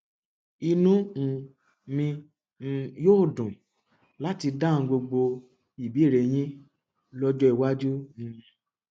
inú um mi um yóò dùn láti dáhùn gbogbo ìbéèrè yín lọjọ iwájú um